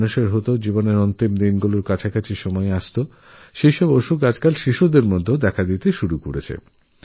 যে সমস্ত রোগব্যাধি আগে প্রৌঢ়ত্বে দেখা যেত তা আজকাল শৈশবেই দেখা যাচ্ছে